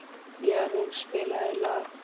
Jarún, spilaðu lag.